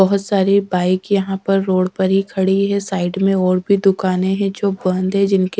बहोत सारी बाइक यहां पर रोड पर ही खड़ी है साइड में और भी दुकाने है जो बंद है जिनके--